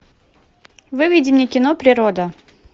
выведи мне кино природа